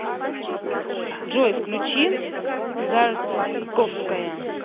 джой включи зарковская